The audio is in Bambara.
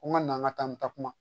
N ka na n ka taa n ta kuma